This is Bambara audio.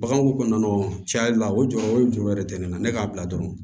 Bagan ko kɔnɔna cɛ la o jɔyɔrɔ o ye jɔyɔrɔ de ye ne na ne k'a bila dɔrɔn